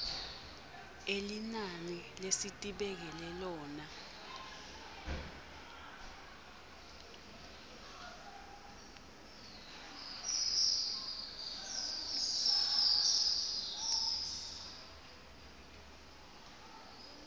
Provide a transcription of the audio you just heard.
elinani lesitibekele lona